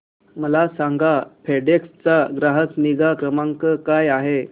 मला सांगा फेडेक्स चा ग्राहक निगा क्रमांक काय आहे